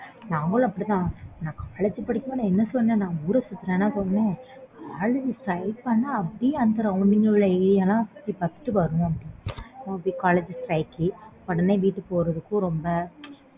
நாங்களும் அப்பிடி தான் நான் college படிக்குற அப்போ என்ன சொல்லறது நான் college strike பண்ணா அப்பிடியே அந்த arounding ல சுத்தி பார்த்துட்டு வருவோம் அப்பிடியே